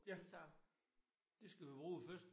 Ja. Det skal vi bruge først